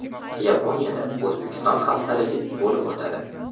Yaponiyada O‘zbekiston haftaligi bo‘lib o‘tadi.